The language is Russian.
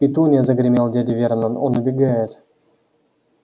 петунья загремел дядя вернон он убегает